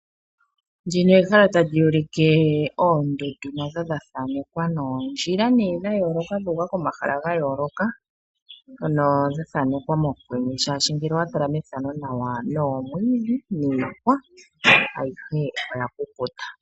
Ndino ehala tali ulike oondundu nadho dhathanekwa noondjila dha yooloka dhu uka komahala ga yooloka mndhono dha thanekwa mokwenye shashi ngele owatala methano omwiidhi niihwa ayihe oya kukuta.